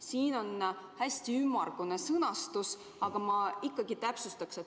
Siin on hästi ümmargune sõnastus ja ma palun ikkagi täpsustada.